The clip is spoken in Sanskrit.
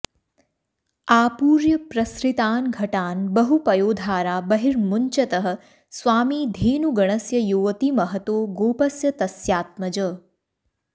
आपूर्य प्रसृतान् घटान् बहुपयोधारा बहिर्मुञ्चतः स्वामी धेनुगणस्य योऽतिमहतो गोपस्य तस्यात्मज